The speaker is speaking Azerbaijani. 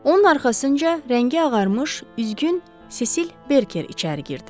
Onun arxasınca rəngi ağarmış üzgün Sesil Berker içəri girdi.